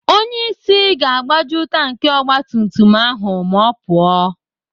Onyeisi ga-agbaju tanki ogbatumtum ahụ ma ọ pụọ.